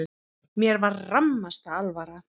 Mér var rammasta alvara.